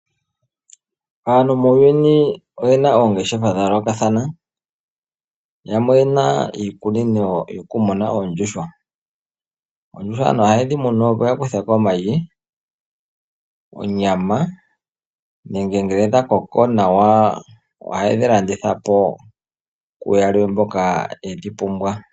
Aantu muuyuni oyena oongeshefa dha yoolokathana. Yamwe oyena iikuku yokumuna yoondjuhwa. Oondjuhwa aantu ohaye dhimunu opo ya kuthe ko omayi, onyama nenge ngele dha koko nawa ohaye dhilanditha po kuyalwe mboka yedhi pumbwa.